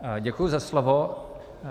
Děkuji za slovo.